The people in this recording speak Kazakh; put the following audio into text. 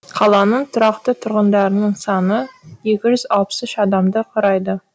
қаланың тұрақты тұрғындарының саны екі жүз алпыс үш адамды құрайды